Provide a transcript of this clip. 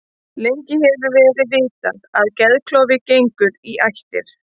Lengi hefur verið vitað að geðklofi gengur í ættir.